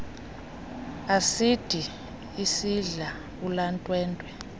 asidi isidla ulwantwentwe